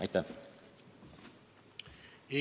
Aitäh!